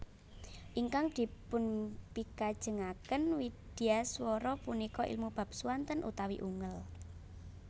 Ingkang dipunpikajengaken widyaswara punika ilmu bab swanten utawi ungel